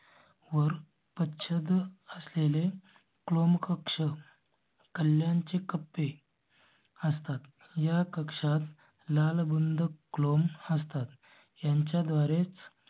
वर छत असलेले क्लोम कक्ष कल्ल्यांचे कप्पे. असतात या कक्षांत लाल बुंद क्लोम असतात यांच्या द्वारेच